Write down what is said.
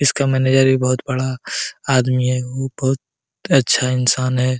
इसका मैनेजर भी बहुत बड़ा आदमी है ऊ बहुत अच्छा इंसान हैं।